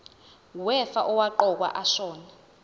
wefa owaqokwa ashona